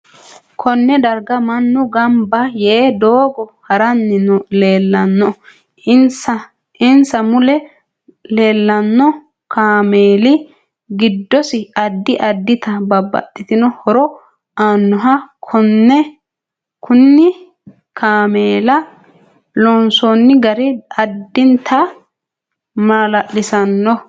Konne darga mannu ganbba yee doogo haranni leelanno insa mule leelanno kaameeli giddosi addi addita babbaxitino horo aannoho kunne kaameela loonoosi gari addinta maalaliisiisanno